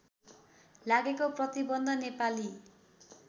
लागेको प्रतिवन्ध नेपाली